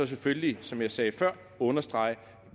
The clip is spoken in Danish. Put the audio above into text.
selvfølgelig som jeg sagde før understrege at